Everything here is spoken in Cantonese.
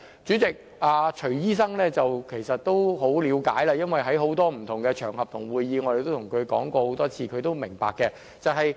主席，徐醫生其實已很了解，因為我們在很多不同場合和會議都對他說過很多次，他也十分明白。